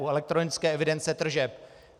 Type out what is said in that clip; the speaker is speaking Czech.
U elektronické evidence tržeb.